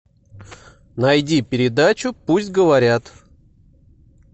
найди передачу пусть говорят